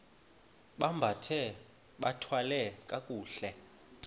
bambathe bathwale kakuhle